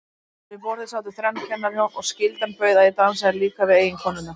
En við borðið sátu þrenn kennarahjón, og skyldan bauð að ég dansaði líka við eiginkonurnar.